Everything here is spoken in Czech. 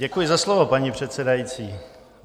Děkuji za slovo, paní předsedající.